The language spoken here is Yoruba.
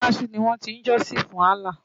Mọ́ṣáláṣí ni wọ́n ti ń jọ́sìn fún Allah.